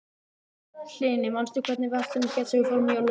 Hlini, manstu hvað verslunin hét sem við fórum í á laugardaginn?